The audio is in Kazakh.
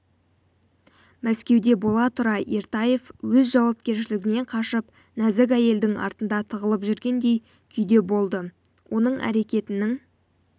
мәскеуде бола тұра ертаев өз жауапкершілігінен қашып нәзік әйелдің артында тығылып жүргендей күйде болды оның әрекетінің